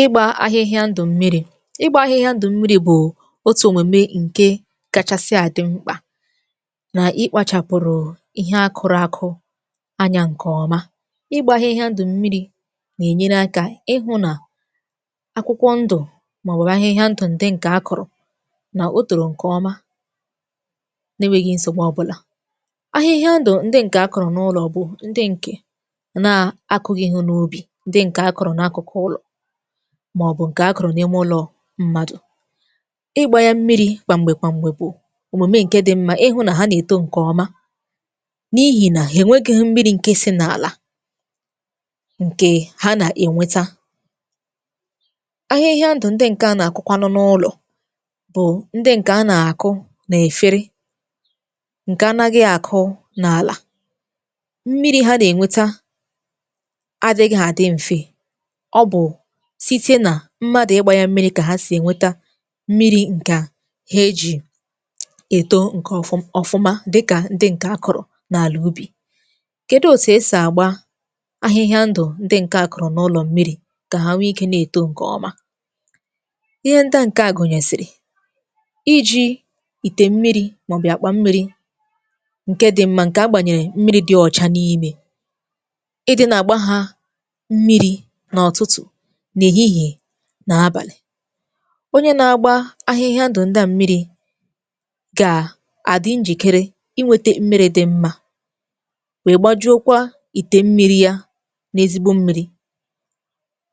Ịgbȧ ahịhịa ndụ̀ mmiri̇. Ịgbȧ ahịhịa ndụ̀ mmiri bù otù òmème ǹke kachasị àdị mkpà nà ịkpȧchàpụ̀rụ̀ ihe akụ̀rụ̀ akụ anyȧ ǹkè ọma. Igbȧ ahịhịa ndụ̀ mmiri̇ nà-ènyere akȧ ịhụ̇ nà akwụkwọ ndụ̀, màọ̀wurụ̀ ahịhịa ndụ̀ ǹdị ǹkè akụrụ, nà otoro ǹkè ọma nenweghị̇ nsògbu ọbụlà. Ahịhịa ndụ̀ ǹdị ǹkè akọ̀rọ̀ n’ụlọ̀ bù ǹdị ǹkè na-akụghị̇ ihu n’obì, ndị nke akụrụ na akụkụ ụlọ, maọbụ nke a kọrọ n’ime ụlọ̀ mmadụ̀. Ịgba ya mmiri̇ kwamgbe kwamgbe bụ omume nke dị mma, ịhụ na ha na-eto nke ọma, n’ihi na ha enwegịghị mmiri nke si n’àlà nke ha na-enweta. Ahịhịa ndụ ndị nke a na-akụkwanụ n’ụlọ̀ bụ ndị nke a na-akụ n’efere, nke anaghị akụ n’àlà, mmiri ha na-enweta adịghị adị mfe, ọbụ site nà mmadụ̀ ịgbȧ ya mmiri̇ kà ha sì ènweta mmiri ǹka he eji̇ èto ǹkè ọfụ ọ̀fụmà dịkà ndị ǹkè akụ̀rụ̀ n’àlà ubì. Kèdi òtù esì àgba ahịhịa ndụ̀ ndị ǹke àkụ̀rụ̀ n’ụlọ̀ mmiri̇, kà ha nwe ikė na-èto ǹkè ọma? Ihe nda ǹke a gụ̀nyèsìrì, iji̇ ìte mmiri̇, màọ̀bù akpa mmiri̇ ǹke dị mma ǹkè agbànyèrè mmiri̇ dị ọ̀cha n’ime, ịdị̇ nà àgba ha mmiri̇ n’ụtụtụ̀, n’èhihìe, nà abàlị̀. Onye na-agba ahịhịa ndụ̀ ndị à mmiri̇ gà àdị njìkere inwėtė mmiri̇ dị mmȧ, wee gbajuokwa ìtè mmiri̇ ya n’ezigbo mmi̇ri̇.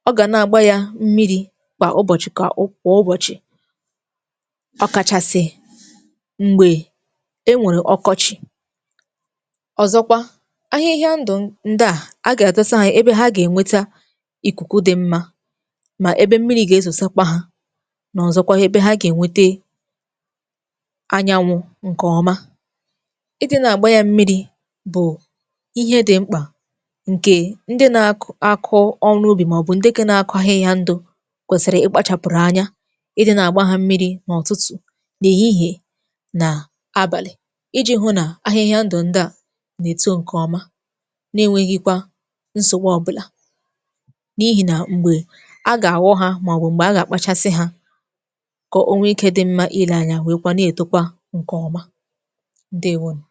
Ọ gà na-àgba ya mmiri̇ kwà ụbọ̀chị̀ kà ụ kwà ụbọ̀chị̀, ọkachasị̇ m̀gbè enwèrè ọkọchị̀. Ọ̀zọkwa ahịhịa ndụ̀ ndà, a gà-àdọsa ha ebe ha gà-ènweta ikuku dị mma, ma ebe mmiri ga-ezòsakwa ha, nà ọ̀zọkwa ebe ha gà-ènwete anyanwụ̇ ǹkè ọma. Ịdị nà-àgba ya mmiri̇ bụ̀ ihe dị mkpà ǹkè ndị nȧ-akụ akụ ọrụ obụ, màọbụ̇ ǹdekọ na-akụ ahịhịa ndụ̇ kwèsìrì ikpȧchàpụ̀rụ̀ anya ịdị nà-àgba ha mmiri̇ n’ụtụtụ̀, nà èhihi, nà abàlị̀, iji̇ hụ nà ahịhịa ndụ̀ ǹdè a nà-èto ǹkè ọma, na-enweghi̇kwa nsògbụ̀ ọbụla, n’ihi nà m̀gbè aga àgho ha, ma ọbụ mgbe a ga akpachasị ha, kà o nwee ikė dị mma ile anya wee kwa na-etokwa ǹkẹ̀ ọma, ǹdewȯnù.